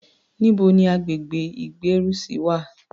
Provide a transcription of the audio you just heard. Níbo ni agbègbè ìgbérùsí wà?